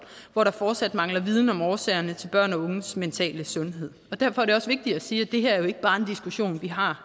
hvor der fortsat mangler viden om årsagerne til børn og unges mentale sundhed derfor er det også vigtigt at sige at det her ikke bare er en diskussion vi har